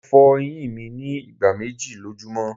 Mo fo eyin mi ni igba meji lojumọ